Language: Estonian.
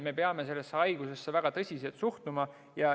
Me peame sellesse haigusesse väga tõsiselt suhtuma.